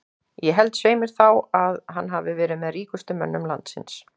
Ég held svei mér þá að að hann hafi verið með ríkustu mönnum landsins.